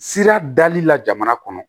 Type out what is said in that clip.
Sira dali la jamana kɔnɔ